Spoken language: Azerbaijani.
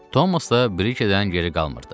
Tomas da Brikerdən geri qalmırdı.